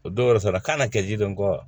O don wɛrɛ fana kan ka kɛ ji don kɔ